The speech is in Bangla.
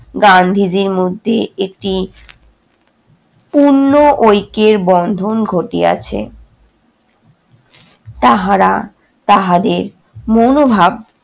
গান্ধীজির মধ্যে একটি পূণ্ন ঐক্যের বন্ধন ঘটিয়াছে। তাহারা তাহাদের মনোভাব